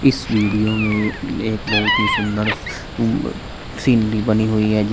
इस वीडियो में एक बहुत ही सुंदर ब सीन भी बनी हुई है।